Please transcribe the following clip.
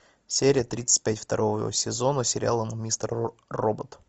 серия тридцать пять второго сезона сериала мистер робот